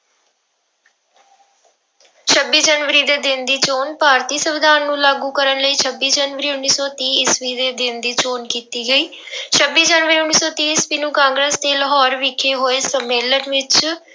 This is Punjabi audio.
ਛੱਬੀ ਜਨਵਰੀ ਦੇ ਦਿਨ ਦੀ ਚੌਣ ਭਾਰਤੀ ਸੰਵਿਧਾਨ ਨੂੰ ਲਾਗੂ ਕਰਨ ਲਈ ਛੱਬੀ ਜਨਵਰੀ ਉੱਨੀ ਸੌ ਤੀਹ ਈਸਵੀ ਦੇ ਦਿਨ ਦੀ ਚੋਣ ਕੀਤੀ ਗਈ ਛੱਬੀ ਜਨਵਰੀ ਉੱਨੀ ਸੌ ਤੀਹ ਈਸਵੀ ਨੂੰ ਕਾਂਗਰਸ਼ ਦੇ ਲਾਹੌਰ ਵਿਖੇ ਹੋਏ ਸੰਮੇਲਨ ਵਿੱਚ